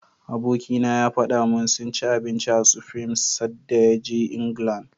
Abikina ya faɗa min sun ci abinci a Supreme sadda ya je England.